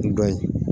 Dɔ ye